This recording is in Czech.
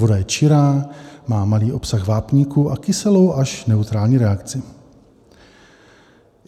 Voda je čirá, má malý obsah vápníku a kyselou až neutrální reakci.